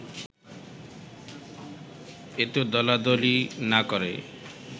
এত দলাদলি না করে